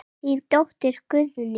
Þín dóttir Guðný.